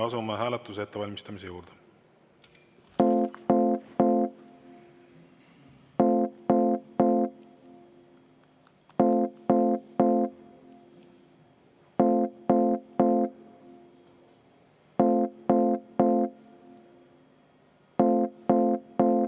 Asume hääletuse ettevalmistamise juurde.